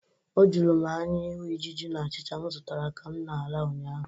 O juru m anya ịhụ ijiji na achịcha m zụtara ka m na-ala ụnyaahụ.